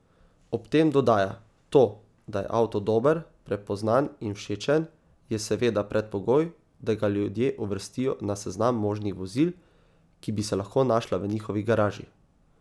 Ob tem dodaja: 'To, da je avto dober, prepoznan in všečen, je seveda predpogoj, da ga ljudje uvrstijo na seznam možnih vozil, ki bi se lahko našla v njihovi garaži.